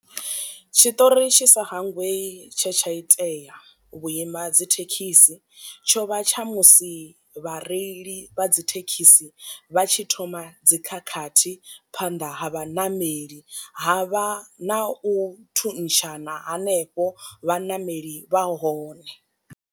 Tshitori tshi sa hangwei tshe tsha itea u vhuima dzithekhisi, tsho vha tsha musi vhareili vha dzi thekhisi vha tshi thoma dzi khakhathi phanḓa ha vhanameli ha vha na u thuntshana hanefho vhaṋameli vha hone.